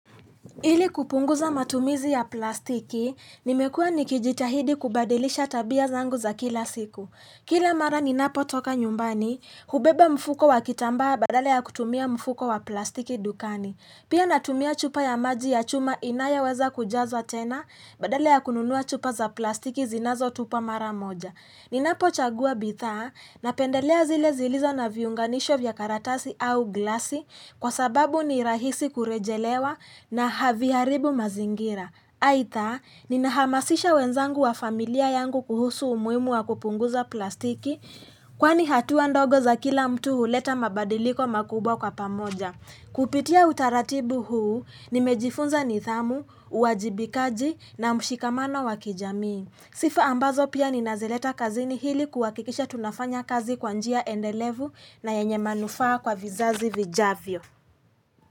Ili kupunguza matumizi ya plastiki, nimekua nikijitahidi kubadilisha tabia zangu za kila siku. Kila mara ninapotoka nyumbani, hubeba mfuko wa kitambaa badala ya kutumia mfuko wa plastiki dukani. Pia natumia chupa ya maji ya chuma inayoweza kujazwa tena badala ya kununua chupa za plastiki zinazotupa mara moja. Ninapochagua bidhaa napendelea zile zilizo na viunganisho vya karatasi au glasi kwa sababu ni rahisi kurejelewa na haviharibu mazingira. Aidha, ninahamasisha wenzangu wa familia yangu kuhusu umuhimu wa kupunguza plastiki kwani hatua ndogo za kila mtu huleta mabadiliko makubwa kwa pamoja. Kupitia utaratibu huu, nimejifunza nidhamu, uwajibikaji na mshikamano wa kijamii. Sifa ambazo pia ninazileta kazini ili kuhakikisha tunafanya kazi kwa njia endelevu na yenye manufaa kwa vizazi vijavyo.